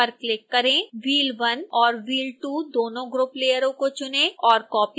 wheel1 और wheel2 दोनों group लेयरों को चुनें और कॉपी करें